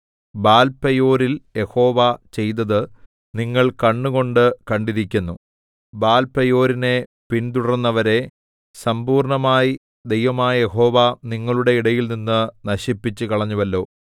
ബാൽപെയോരിൽ Jehovah ചെയ്തത് നിങ്ങൾ കണ്ണുകൊണ്ട് കണ്ടിരിക്കുന്നു ബാൽപെയോരിനെ പിന്തുടർന്നവരെ സംമ്പൂർണ്ണമായി ദൈവമായ യഹോവ നിങ്ങളുടെ ഇടയിൽനിന്ന് നശിപ്പിച്ചുകളഞ്ഞുവല്ലോ